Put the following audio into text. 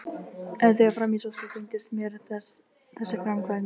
En þegar fram í sótti þyngdist mér þessi framkvæmd.